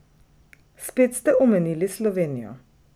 Spet ste omenili Slovenijo.